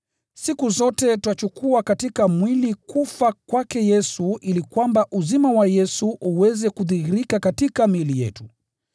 Siku zote twachukua katika mwili kufa kwake Yesu ili kwamba uzima wa Yesu uweze kudhihirika katika miili yetu.